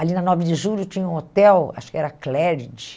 Ali na Nove de Julho tinha um hotel, acho que era Cléride.